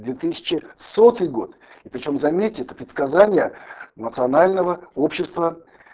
две тысячи сотый год и причём заметьте это предсказание национального общества